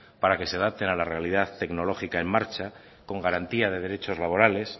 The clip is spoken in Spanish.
para que se adapten a la realidad tecnológica en marcha con garantía de derechos laborales